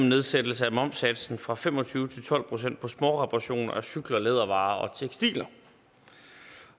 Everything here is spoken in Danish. nedsættelse af momssatsen fra fem og tyve procent til tolv procent på småreparationer af cykler lædervarer og tekstiler